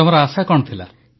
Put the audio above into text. ତମ ଆଶା କଣ ଥିଲା